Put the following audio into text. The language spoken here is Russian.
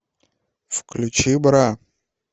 включи бра